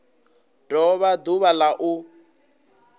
do vha ḓuvha la u